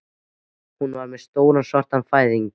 Hún var með stóran svartan fæðing